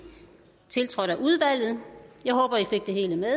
tiltrådt af udvalget jeg håber i fik det hele med